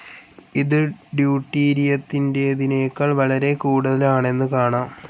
ഇതു ഡ്യുട്ടീരിയത്തിന്റേതിനേക്കാൾ വളരെ കൂടുതൽ ആണെന്നു കാണാം.